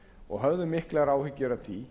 og höfðum miklar áhyggjur af því